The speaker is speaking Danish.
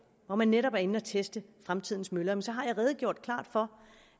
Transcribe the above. hvor man netop er inde at teste fremtidens møller så har jeg redegjort klart for